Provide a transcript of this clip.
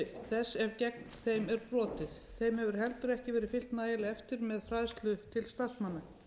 þess ef gegn þeim er brotið þeim hefur heldur ekki verið fylgt nægilega vel eftir með fræðslu til starfsmanna